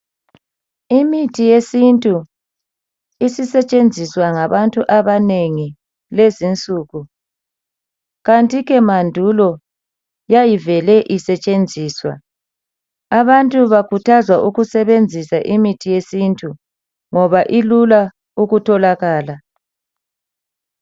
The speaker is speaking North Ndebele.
Imithi yesintu isisetshenziswa ngabantu abanengi lezinsuku. Kanti ke mandulo yayivele isetshenziswa. Abantu bakhuthazwa ukusebenzisa imithi yesintu ngoba ilula ukutholakala.